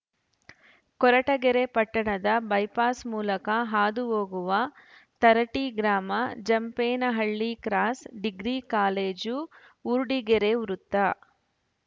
ಕೊರಟಗೆರೆ ಪಟ್ಟಣದ ಬೈಪಾಸ್ ಮೂಲಕ ಹಾದು ಹೋಗುವ ಥರಟಿ ಗ್ರಾಮ Jampenahalli cross degree college Urdigere ವೃತ್ತ